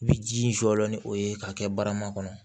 I bi ji in jɔ ni o ye k'a kɛ barama kɔnɔ